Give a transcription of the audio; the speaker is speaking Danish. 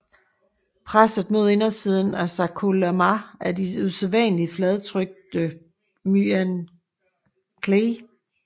Presset mod indersiden af sarkolemma er de usædvanligt fladtrykte myonuclei